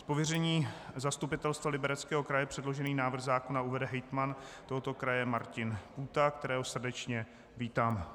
Z pověření Zastupitelstva Libereckého kraje předložený návrh zákona uvede hejtman tohoto kraje Martin Půta, kterého srdečně vítám.